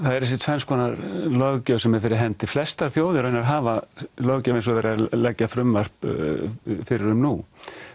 er þessi tvenns konar löggjöf sem er fyrir hendi flestar þjóðir hafa löggjöf eins og verið er að leggja frumvarp fyrir um nú